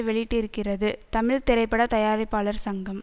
வெளியிட்டிருக்கிறது தமிழ் திரைப்பட தயாரிப்பாளர் சங்கம்